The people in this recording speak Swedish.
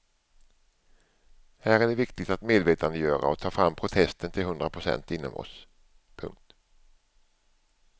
Här är det viktigt att medvetandegöra och ta fram protesten till hundra procent inom oss. punkt